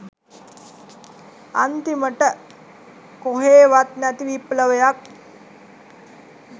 අන්තිමට කොහේවත් නැති විප්ලවයක්